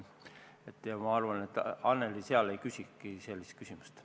Ma arvan, et seal Annely ei küsikski sellist küsimust.